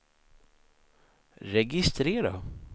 registrera